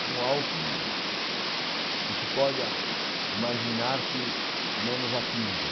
com algo que não não se pode ah imaginar que não nos atinja.